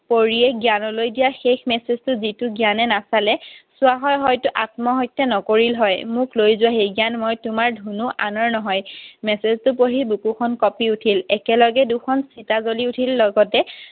পৰীয়ে জ্ঞানলৈ দিয়া শেষ message টো যিটো জ্ঞানে নাচালে, চোৱা হয় হয়তো আত্মহত্যা নকৰিল হয়। মোক লৈ যোৱাহি জ্ঞান, মই তোমাৰ ধুনু। আনৰ নহয়। Message টো পঢ়ি বুকুখন কপি উঠিল। একেলগে দুখন চিতা জ্বলি উঠিল। লগতে